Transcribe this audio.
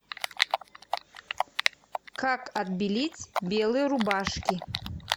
как отбелить белые рубашки